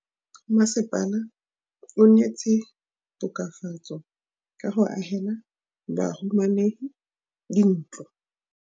Mmasepala o neetse tokafatsô ka go agela bahumanegi dintlo.